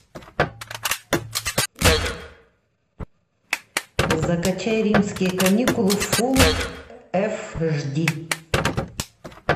закачай римские каникулы фулл эш ди